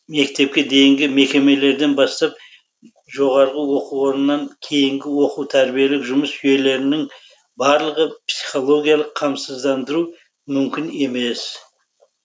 мектепке дейінгі мекемелерден бастап жоо кейінгі оқу тәрбиелік жұмыс жүйелерінің барлығы психологиялық қамсыздандырусыз мүмкін емес